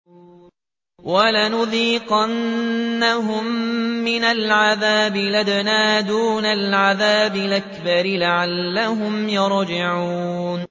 وَلَنُذِيقَنَّهُم مِّنَ الْعَذَابِ الْأَدْنَىٰ دُونَ الْعَذَابِ الْأَكْبَرِ لَعَلَّهُمْ يَرْجِعُونَ